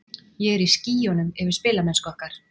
Ég er í skýjunum yfir spilamennsku okkar.